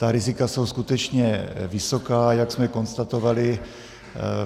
Ta rizika jsou skutečně vysoká, jak jsme konstatovali.